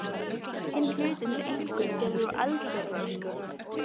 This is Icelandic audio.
Hinn hlutinn er einkum gerður úr eldfjallaösku.